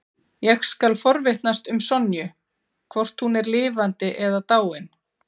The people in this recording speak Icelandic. Ég skal forvitnast um Sonju, hvort hún er lifandi eða dáin.